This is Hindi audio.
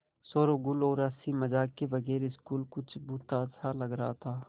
शोरोगुल और हँसी मज़ाक के बगैर स्कूल कुछ भुतहा सा लग रहा था